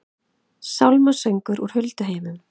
Sálmasöngur úr hulduheimum